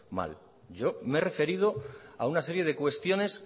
mal yo me he referido a una serie de cuestiones